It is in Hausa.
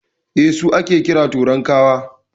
Eh, su ake kira "Torankawa".